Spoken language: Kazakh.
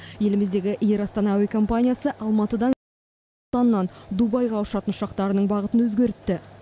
еліміздегі эйр астана әуе компаниясы алматыдан дубайға ұшатын ұшақтарының бағытын өзгертті